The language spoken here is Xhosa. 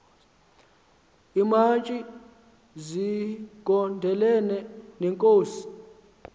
iimantyi zigondelene neenkosi